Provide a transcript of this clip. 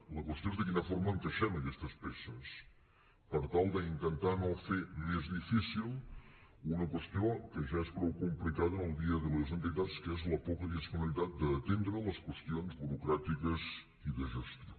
la qüestió és de quina forma encaixem aquestes peces per tal d’intentar no fer més difícil una qüestió que ja és prou complicada en el dia a dia de les entitats que és la poca disponibilitat d’atendre les qüestions burocràtiques i de gestió